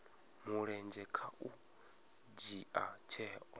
mulenzhe kha u dzhia tsheo